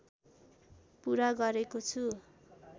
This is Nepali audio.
पुरा गरेको छु